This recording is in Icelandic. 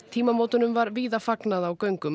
tímamótunum var víða fagnað á göngum